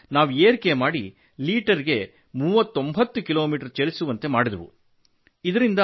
ಅದನ್ನು ನಾವು ಏರಿಕೆ ಮಾಡಿ ಲಿಟರ್ ಗೆ 39 ಕಿಲೋಮೀಟರ್ ಚಲಿಸುವಂತೆ ಮಾಡಿದೆವು